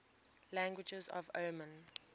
languages of oman